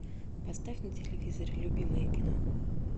поставь на телевизоре любимое кино